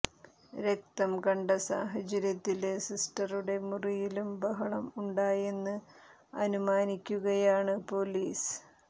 രക്തം കണ്ട സാഹചര്യത്തില് സിസ്റ്ററുടെ മുറിയിലും ബഹളം ഉണ്ടായെന്ന് അനുമാനിക്കുകയാണ് പൊലീസ്